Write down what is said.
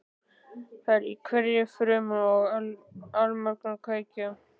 Það er í hverri frumu og allmörgum kveikjum.